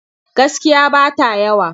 Gaskiya ba ta yawa.